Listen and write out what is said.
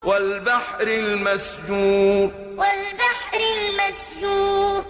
وَالْبَحْرِ الْمَسْجُورِ وَالْبَحْرِ الْمَسْجُورِ